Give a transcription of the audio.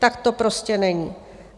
Tak to prostě není.